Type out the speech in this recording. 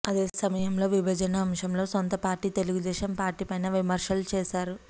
అదే సమయంలో విభజన అంశంలో సొంత పార్టీ తెలుగుదేశం పార్టీ పైన విమర్శలు చేశారు